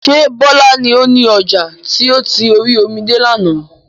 Ṣé Bọlá ni ó ní ọjà tí ó ti orí omi de lànà?